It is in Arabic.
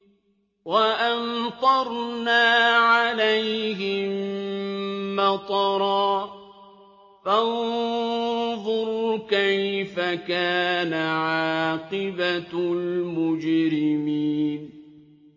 وَأَمْطَرْنَا عَلَيْهِم مَّطَرًا ۖ فَانظُرْ كَيْفَ كَانَ عَاقِبَةُ الْمُجْرِمِينَ